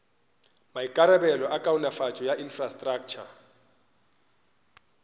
maikarabelo a kaonafatšo ya infrastraktšha